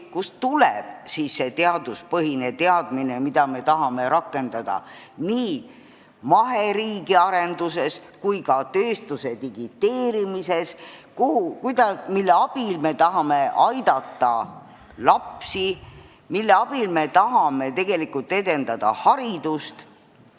Kust tuleb siis see teaduspõhine teadmine, mida me tahame rakendada nii maheriigi arenduseks kui ka tööstuse digiteerimiseks, mille abil me tahame aidata lapsi, mille abil me tahame tegelikult edendada haridust?